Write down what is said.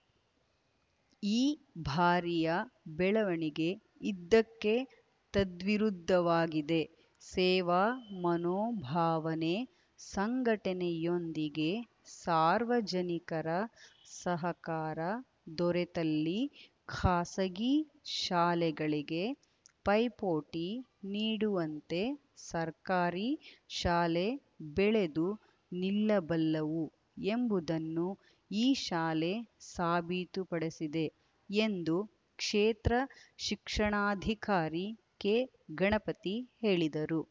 ಈ ಬಾರಿಯ ಬೆಳವಣಿಗೆ ಇದಕ್ಕೆ ತದ್ವಿರುದ್ಧವಾಗಿದೆ ಸೇವಾ ಮನೋಭಾವನೆ ಸಂಘಟನೆಯೊಂದಿಗೆ ಸಾರ್ವಜನಿಕರ ಸಹಕಾರ ದೊರೆತಲ್ಲಿ ಖಾಸಗಿ ಶಾಲೆಗಳಿಗೆ ಪೈಪೋಟಿ ನೀಡುವಂತೆ ಸರ್ಕಾರಿ ಶಾಲೆ ಬೆಳೆದು ನಿಲ್ಲಬಲ್ಲವು ಎಂಬುದನ್ನು ಈ ಶಾಲೆ ಸಾಬೀತುಪಡಿಸಿದೆ ಎಂದು ಕ್ಷೇತ್ರ ಶಿಕ್ಷಣಾಧಿಕಾರಿ ಕೆ ಗಣಪತಿ ಹೇಳಿದರು